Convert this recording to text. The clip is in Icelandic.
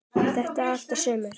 Er þetta allt og sumt?